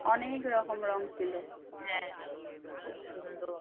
অনেক রকম রঙ ছিল খুব সুন্দর।